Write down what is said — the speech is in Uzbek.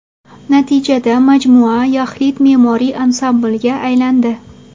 Natijada majmua yaxlit me’moriy ansamblga aylandi.